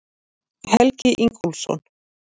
Helgi Ingólfsson.